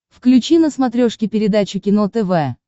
включи на смотрешке передачу кино тв